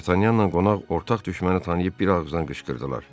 Dartanyanla qonaq ortaq düşməni tanıyıb bir ağızdan qışqırdılar.